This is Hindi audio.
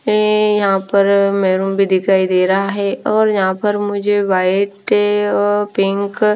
ए यहाँ पर मेरून भी दिखाई दे रहा है और यहाँ पर मुझे वाइट ओ पिंक --